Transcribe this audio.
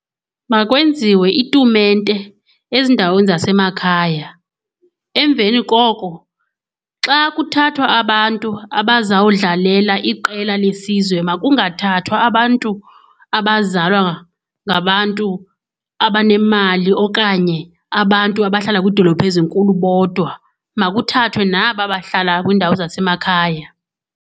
Makwenziwe itumente ezindaweni zasemakhaya. Emveni koko xa kuthathwa abantu abazawudlalela iqela lesizwe makungathathwa abantu abazalwa ngabantu abanemali okanye abantu abahlala kwiidolophu ezinkulu bodwa, makuthathwe naba bahlala kwiindawo zasemakhaya.